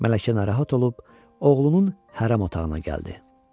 Mələkə narahat olub oğlunun hərəm otağına gəldi.